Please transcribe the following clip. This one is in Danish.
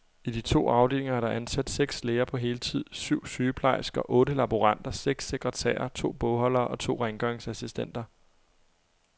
I de to afdelinger er der ansat seks læger på heltid, syv sygeplejersker, otte laboranter, seks sekretærer, to bogholdere og to rengøringsassistenter.